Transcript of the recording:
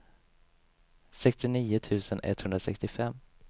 sextionio tusen etthundrasextiofem